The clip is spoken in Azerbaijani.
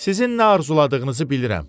Sizin nə arzuladığınızı bilirəm.